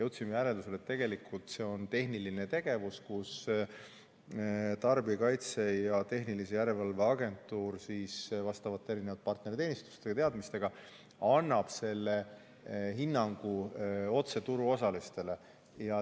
Jõudsime järeldusele, et tegelikult see on tehniline tegevus ning Tarbijakaitse ja Tehnilise Järelevalve Amet vastavate partnerteenistuste ja teadmistega annab selle hinnangu otse turuosalistele.